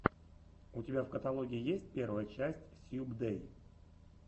у тебя в каталоге есть первая часть сьюбдэй